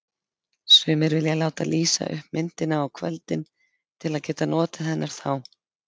Sumir vilja láta lýsa upp myndina á kvöldin til að geta notið hennar þá.